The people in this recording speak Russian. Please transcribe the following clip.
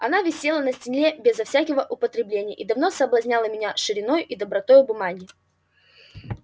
она висела на стене безо всякого употребления и давно соблазняла меня шириною и добротою бумаги